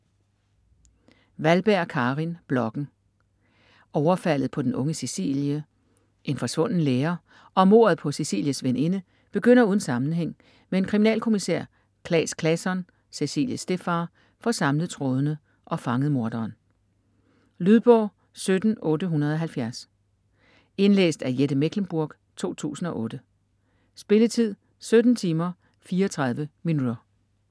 Wahlberg, Karin: Blokken Overfaldet på den unge Cecilie, en forsvunden lærer og mordet på Cecilies veninde begynder uden sammenhæng, men kriminalkommisær Claes Claesson - Cecilies stedfar - får samlet trådene og fanget morderen. Lydbog 17870 Indlæst af Jette Mechlenburg, 2008. Spilletid: 17 timer, 34 minutter.